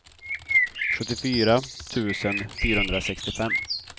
sjuttiofyra tusen fyrahundrasextiofem